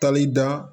Tali da